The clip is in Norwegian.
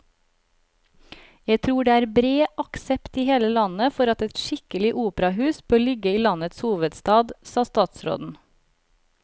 Jeg tror det er bred aksept i hele landet for at et skikkelig operahus bør ligge i landets hovedstad, sa statsråden.